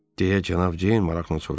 deyə Cənab Ceyn maraqla soruştu.